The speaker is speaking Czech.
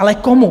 Ale komu?